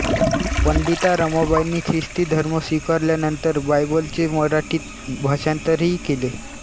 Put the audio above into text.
पंडिता रमाबाईंनी ख्रिस्ती धर्म स्वीकारल्यानंतर बायबलचे मराठीत भाषांतरही केले